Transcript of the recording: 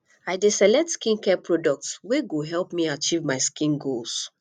i dey select skincare products wey go help me achieve my skin goals